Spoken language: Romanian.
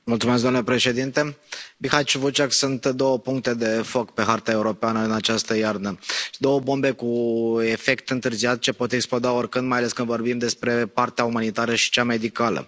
Domnule președinte, Bihac și Vucjak sunt două puncte de foc pe harta europeană în această iarnă, două bombe cu efect întârziat ce pot exploda oricând, mai ales când vorbim despre partea umanitară și cea medicală.